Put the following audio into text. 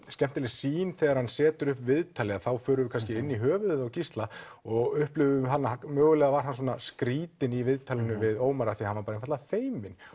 skemmtileg sýn þegar hann setur upp viðtalið þá förum við kannski inn í höfuðið á Gísla og mögulega var hann skrítinn í viðtalinu við Ómar af því hann var einfaldlega feiminn